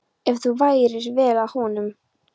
Ef þú færir vel að honum.